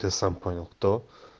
ты сам понял кто